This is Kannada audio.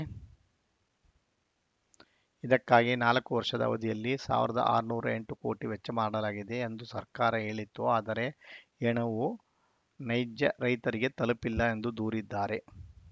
ಇದಕ್ಕಾಗಿ ನಾಲ್ಕು ವರ್ಷದ ಅವಧಿಯಲ್ಲಿ ಸಾವಿರದ ಆರುನೂರ ಎಂಟು ಕೋಟಿ ವೆಚ್ಚ ಮಾಡಲಾಗಿದೆ ಎಂದು ಸರ್ಕಾರ ಹೇಳಿತ್ತು ಆದರೆ ಈ ಹಣವು ನೈಜ ರೈತರಿಗೆ ತಲುಪಿಲ್ಲ ಎಂದು ದೂರಿದ್ದಾರೆ